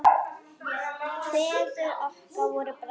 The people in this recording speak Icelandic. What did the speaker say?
Feður okkar voru bræður.